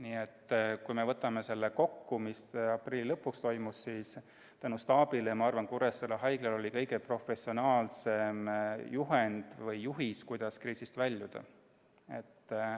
Nii et kui võtta kokku, mis aprilli lõpuks oli tehtud, siis ma arvan, et tänu staabile oli Kuressaare Haiglal olemas kõige professionaalsem juhend või juhis, kuidas kriisist väljuda.